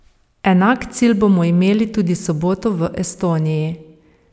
Enak cilj bomo imeli tudi soboto v Estoniji.